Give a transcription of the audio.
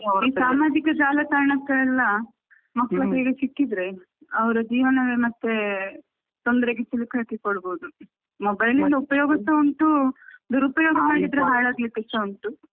ಈ ಸಾಮಾಜಿಕ ಜಾಲತಾಣಕ್ಕೆ ಎಲ್ಲಾ ಮಕ್ಕಳ ಕೈಯಲ್ಲಿ ಸಿಕ್ಕಿದ್ರೆ ಅವರ ಜೀವನವೇ ಮತ್ತೆ ತೊಂದರೆಗೆ ಸಿಲುಕಿ ಹಾಕ್ಕೊಳ್ಳಬಹುದು mobile ಇಂದ ಉಪಯೋಗ ಸಾ ಕೂಡ ಉಂಟು ದುರುಪಯೋಗ ಮಾಡಿದ್ರೆ ಹಾಳಾಗಲಿಕ್ಕು ಸಾ ಉಂಟು.